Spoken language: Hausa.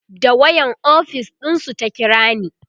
da wayan ofis ɗinsu ta kirani